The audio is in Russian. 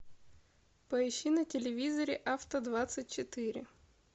поищи на телевизоре авто двадцать четыре